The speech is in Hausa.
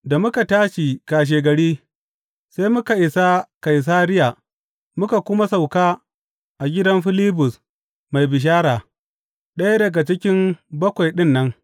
Da muka tashi kashegari, sai muka isa Kaisariya muka kuma sauka a gidan Filibus mai bishara, ɗaya daga cikin Bakwai ɗin nan.